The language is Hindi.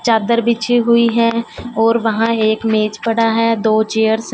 चादर बिछी हुई है और वहां एक मेज पड़ा है दो चेयर्स --